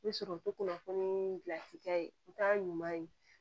I bɛ sɔrɔ kunnafoni nii gilanci kɛ o t'a ɲuman ye